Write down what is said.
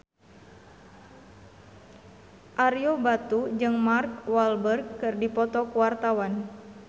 Ario Batu jeung Mark Walberg keur dipoto ku wartawan